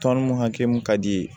Tɔn mun hakɛ mun ka di ye